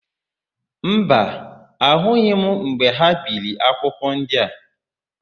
Mba, ahụghị m mgbe ha biri akwụkwọ ndị a.